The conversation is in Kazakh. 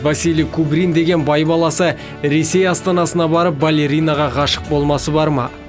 василий кубрин деген бай баласы ресей астанасына барып балеринаға ғашық болмасы бар ма